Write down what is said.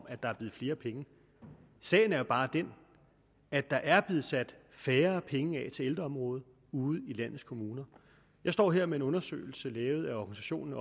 at der er blevet flere penge sagen er jo bare den at der er blevet sat færre penge af til ældreområdet ude i landets kommuner jeg står her med en undersøgelse lavet af organisationen